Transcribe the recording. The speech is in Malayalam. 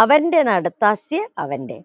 അവന്റെ നാട് ഫസിയ അവന്റെ